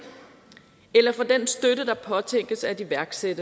eller få den støtte der påtænkes iværksat